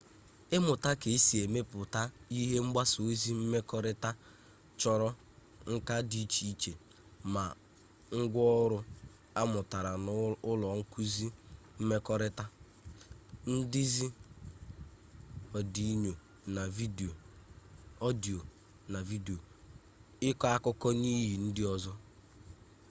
ịmụta ka esi emepụta ihe mgbasa ozi mmekọrịta chọrọ nka dị iche iche ma ngwa ọrụ amụtara n'ụlọ nkụzi mmekọrịta ndezi ọdiyo na vidiyo ịkọ akụkọ n'ihe ndị ọzọ